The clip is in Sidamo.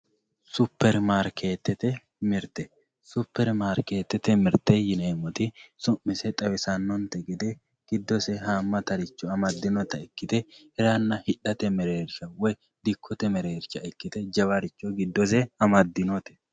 superimaarkeetete mirte yineemmoti su'mise xawisannonte gede giddose haammatare amaddinota ikkite hiranna hidhate mereersha woyi dikkote mereersha ikkite jawaricho giddose amaddinote.